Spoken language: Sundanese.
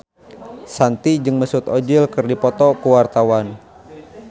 Shanti jeung Mesut Ozil keur dipoto ku wartawan